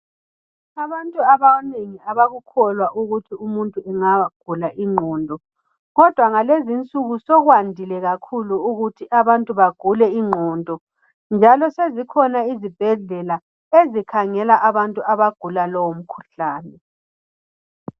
Abantu abanye abakukholwa ukuthi umuntu angagula ingqondo, kodwa ngalezinsuku sokwandile kakhulu ukuthi abantu bagule ingqondo, njalo sezikhona izibhedlela ezikhangela abantu abagula lowo mkhuhlane.